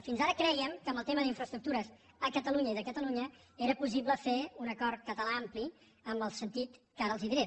fins ara crèiem que amb el tema d’infraestructures a catalunya i de catalunya era possible fer un acord català ampli en el sentit que ara els diré